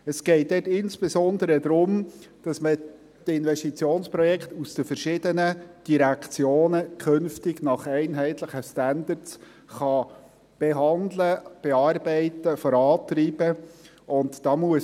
Es geht dabei insbesondere darum, dass man die Investitionsprojekte aus den verschiedenen Direktionen künftig nach einheitlichen Standards behandeln, bearbeiten, vorantreiben kann.